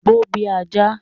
Gbó bí ajá!